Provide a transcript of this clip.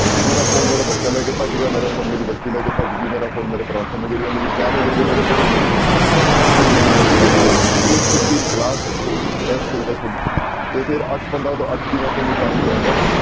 ਮੇਰਾ phone ਮੇਰਾ ਬੱਚਾ ਲੈ ਕੇ ਭੱਜ ਗਿਆ ਮੇਰਾ phone ਮੇਰੀ ਬੱਚੀ ਲੈ ਕੇ ਭੱਜ ਗਈ ਮੇਰਾ phone ਮੇਰੇ ਪਰੋਠੇ ਮੇ ਗਿਰ ਗਿਆ, ਮੇਰੀ ਚਾਹ ਮੇ ਗਿਰ ਗਿਆ, ਮੇਰੇ ਦਹੀਂ ਮੇ ਗਿਰ ਗਿਆ ਨਹੀਂ eight to eight fifteen class ਹੋਊਗੀ test ਹੋਊਗਾ ਤੁਹਾਡਾ ਤੇ ਫਿਰ ਅੱਠ ਪੰਦਰਾਂ ਤੋਂ ਅੱਠ ਵੀਹ ਮੈਂ ਤੁਹਾਨੂੰ time ਦਊਂਗਾ